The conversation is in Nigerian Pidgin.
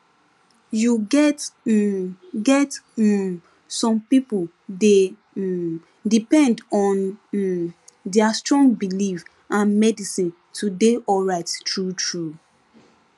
you get um get um some people dey um depend on um their strong belief and medicine to dey alright truetrue